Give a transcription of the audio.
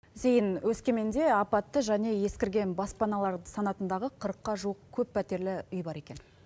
зейін өскеменде апатты және ескірген баспаналар санатындағы қырыққа жуық көп пәтерлі үй бар екен